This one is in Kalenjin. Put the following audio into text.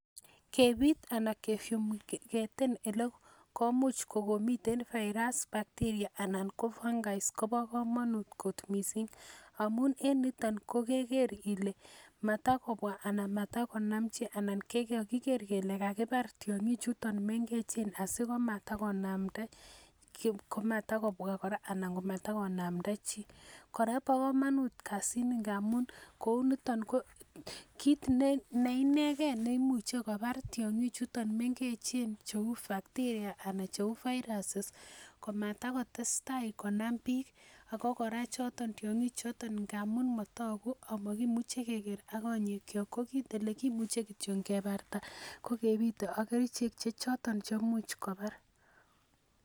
Kebit ana elekomuch kokomiten virus bacteria ana ko fungi kobo komonut kot missing amun en niton ko keker ile matakobwa ana matqkonamchi ana keker kele kakibar tiong'ik chuton mengechen asikomatakonamda komatakobwa ana matakonamda chii kora bo komonut kasit ni ngamun kou niton ko kit neinegen neimuche kobar tiong'ik chuton mengechen cheu bacteria ana cheu virus komatakotestai konam biik ako kora choton tiong'ik choton amun motogu amokimuche keker ak konyek kyok ko kit elekimuche kebarta kokebite ak kerichek che choton cheimuch kobar